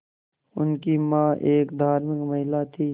उनकी मां एक धार्मिक महिला थीं